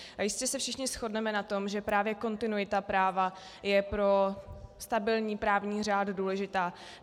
Jistě se všichni shodneme na tom, že právě kontinuita práva je pro stabilní právní řád důležitá.